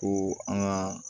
Ko an ka